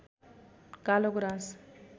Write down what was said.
कालो गुराँस